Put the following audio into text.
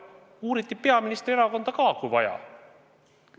Uuriti peaministri erakonda ka, kui vaja oli.